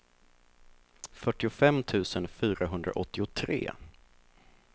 fyrtiofem tusen fyrahundraåttiotre